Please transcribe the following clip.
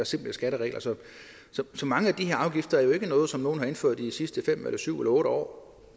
simplere skatteregler så så mange af de her afgifter jo ikke noget som nogen har indført i de sidste fem syv eller otte år